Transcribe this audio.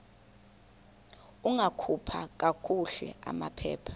ungakhupha kakuhle amaphepha